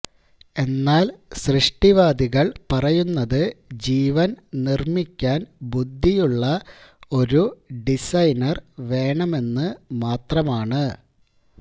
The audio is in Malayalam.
എന്നാൽ സൃഷ്ടിവാദികൾ പറയുന്നത് ജീവൻ നിർമ്മിക്കാൻ ബുദ്ധിയുള്ള ഒരു ഡിസൈനർ വേണമെന്ന് മാത്രമാണ്